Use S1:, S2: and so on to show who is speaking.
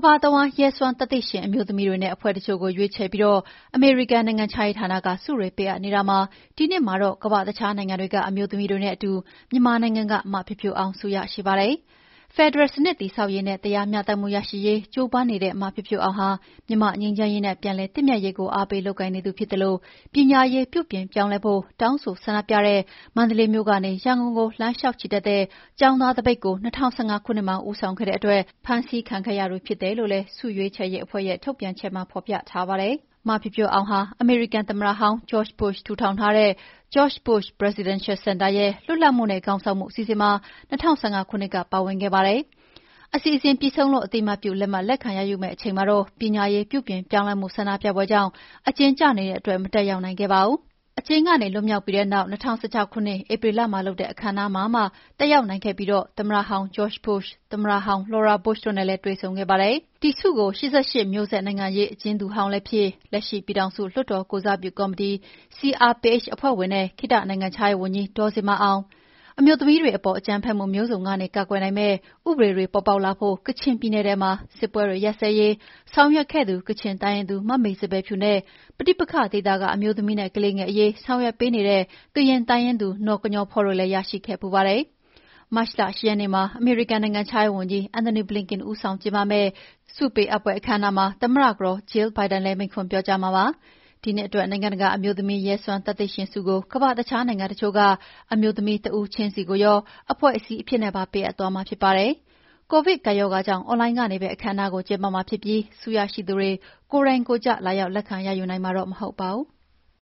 S1: ဘာတဝန်း ရဲစွမ်းသတ္တိရှင်အမျိုးသမီးတွေနဲ့ အဖွဲ့တချို့ကိုရွေးချယ်ပြီး အမေရိကန်နိုင်ငံခြားရေးဌာနက ဆုတွေပေးအပ်နေတာမှာ ဒီနှစ်မှာတော့ ကမ္ဘာ့တခြားနိုင်ငံတွေက အမျိုးသမီးတွေနဲ့အတူ မြန်မာနိုင်ငံက မဖြိုးဖြိုးအောင် ဆုရရှိပါတယ်။ ဖယ်ဒရယ်စနစ်တည်ဆောက်ရေးနဲ့ တရားမ ျှတမှုရရှိရေး ကြိုးပမ်းနေတဲ့ မဖြိုးဖြိုးအောင်ဟာ မြန်မာ့ငြိမ်းချမ်းရေးနဲ့ ပြန်လည်သင့်မြတ်ရေးကို အားပေးလုပ်ကိုင်နေသူဖြစ်သလို ပညာရေးပြုပြင်ပြောင်းလဲဖို့ တောင်းဆိုဆန္ဒပြတဲ့ မန္တလေးမြို့ကနေရန်ကုန်ကို လမ်းလေ ျှာက်ချီတက်တဲ့ ကျောင်သားသပိတ်ကို ၂၀၁၅ ခုနှစ်မှာ ဦးဆောင်ခဲ့တဲ့အတွက်ဖမ်းဆီးခံခဲ့ရသူဖြစ်တယ်လို့လည်း (International Women of Courage Award - IWOC) ဆုရွေးချယ်ရေးအဖွဲ့ရဲ့ထုတ်ပြန်ချက်မှာ ဖော်ပြထားပါတယ်။ မဖြိုးဖြိုးအောင်ဟာ အမေရိကန်သမ္မတဟောင်း George Bush ထူထောင်ထားတဲ့ George W. Bush Presidential Center ရဲ့ လွတ်လပ်မှုနဲ့ခေါင်းဆောင်မှုအစီအစဉ်မှာ ၂၀၁၅ ခုနှစ်က ပါဝင်ခဲ့ပါတယ်။ အစီအစဉ်ပြီးဆုံးလို့ အသိအမှတ်ပြုလက်မှတ် လက်ခံရယူရမယ့်အချိန်မှာတော့ ပညာရေးပြုပြင်ပြောင်းလဲမှု ဆန္ဒပြပွဲကြောင့် အကျဉ်းကျနေတဲ့အတွက် မတက်ရောက်နိုင်ခဲ့ပါဘူး။ အကျဉ်းကနေ လွတ်မြောက်ပြီးတဲ့နောက် ၂၀၁၆ ခုနှစ်၊ ဧပြီလမှာလုပ်တဲ့ အခမ်းအနားမှာမှ တက်ရောက်နိုင်ခဲ့ပြီး သမ္မတဟောင်း ဂျော့ဂျ် ဘုရှ်၊ သမ္မတဟောင်းကတော် လော်ရာ ဘုရှ်တို့နဲ့လည်း တွေ့ဆုံခဲ့ပါတယ်။ ဒီဆုကို အရင်က ၈၈ မျိုးဆက် နိုင်ငံရေးအကျဉ်းသူဟောင်းလည်းဖြစ်၊လက်ရှိ ပြည်ထောင်စုလွှတ်တော်ကိုယ်စားပြုကော်မတီ CRPH အဖွဲ့ဝင်နဲ့ ခေတ္တနိုင်ငံခြားရေးဝန်ကြီး ဒေါ်ဇင်မာအောင်၊ အမျိုးသမီးတွေပေါ် အကြမ်းဖက်မှုမျိုးစုံကနေ ကာကွယ်နိုင်မယ့် ဥပဒေတွေ ပေါ်ပေါက်လာဖို့နဲ့ ကချင်ပြည်နယ်ထဲမှာ စစ်ပွဲတွေ ရပ်စဲရေးဆောင်ရွက်ခဲ့သူ ကချင်တိုင်းရင်းသူ မမေစံပယ်ဖြူနဲ့ပဋိပက္ခဒေသက အမျိုးသမီးနဲ့ကလေးငယ်အရေး ဆောင်ရွက်ပေးနေတဲ့ ကရင်တိုင်းရင်းသူ နော်ကညောဖောတို့လည်း ရခဲ့ဖူးပါတယ်။ မတ်လ ၈ ရက်နေ့မှာ အမေရိကန်နိုင်ငံခြားရေးဝန်ကြီး Anthony Blinken ဦးဆောင်ကျင်းပမယ့် ဆုပေးအပ်ပွဲအခမ်းအနားမှာ သမ္မတကတော် Jill Biden လည်းမိန့်ခွန်ပြောကြားမှာဖြစ်ပါတယ်။ ဒီနှစ်အတွက် နိုင်ငံတကာ အမျိုးသမီးရဲစွမ်းသတ္တိရှင်ဆုကို ကမ္ဘာ့အခြားနိုင်ငံတချို့က အမျိုးသမီးတစ်ဦးချင်းစီကိုရော အဖွဲ့အစည်းအဖြစ်နဲ့ပါပေးအပ်သွားမှာဖြစ်ပါတယ်။ ကိုဗစ်ကပ်ရောဂါကြောင့် အွန်လိုင်းကနေပဲ အခမ်းအနားကိုကျင်းပမှာဖြစ်ပြီး ဆုရရှိသူတွေ ကိုယ်တိုင်ကိုယ်ကျ လာရောက်လက်ခံရယူနိုင်မှာတော့မဟုတ်ပါဘူး။